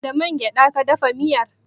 Da man gyada ka dafa miyar?